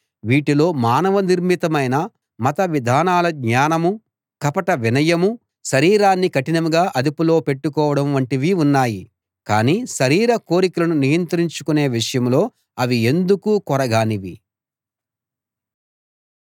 వీటిలో మానవ నిర్మితమైన మత విధానాల జ్ఞానమూ కపట వినయమూ శరీరాన్ని కఠినంగా అదుపులో పెట్టుకోవడం వంటివి ఉన్నాయి కానీ శరీర కోరికలను నియంత్రించుకునే విషయంలో అవి ఎందుకూ కొరగానివి